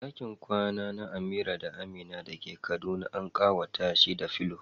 Dakin kwana na Amira da Amina da ke Kaduna an kawata shi da pillow.